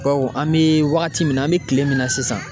Bawo an mi wagati min na an mi kile min na sisan